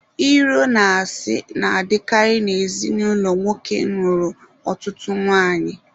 Iro na asị na-adịkara na ezinụlọ nwoke nụrụ ọtụtụ nwanyị.